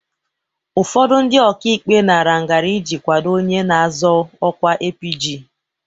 ụfọdụ ndị ọkaikpe nara ngarị iji kwado onye na-azọ ọkwa APG.